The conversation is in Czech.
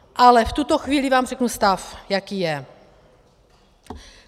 Ale v tuto chvíli vám řeknu stav, jaký je.